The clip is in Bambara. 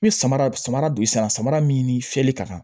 N bɛ samara samara don sisan min ni fiyɛli ka kan